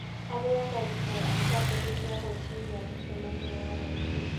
Arĩaga irio akĩambĩrĩria gwĩciria mũcemanio wa rũciũ.